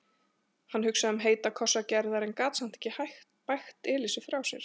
Hann hugsaði um heita kossa Gerðar en gat samt ekki bægt Elísu frá sér.